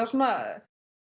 svona